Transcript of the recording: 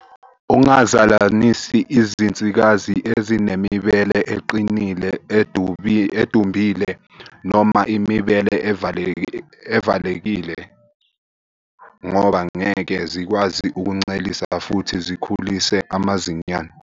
Ungazalanisi izinsikazi ezinemibele eqinile, edumbile noma imibele evalekile ngoba ngeke zikwazi ukuncelisa futhi zikhulise amazinyane.